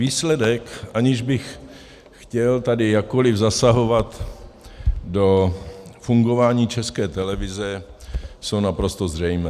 Výsledky, aniž bych chtěl tady jakkoli zasahovat do fungování České televize, jsou naprosto zřejmé.